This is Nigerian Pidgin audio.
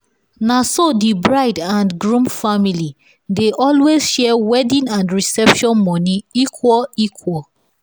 naso the bride and groom family dey always share wedding and reception money equal equal.